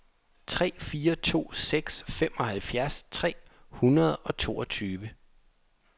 tre fire to seks femoghalvfjerds tre hundrede og toogtyve